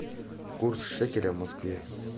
курс шекеля в москве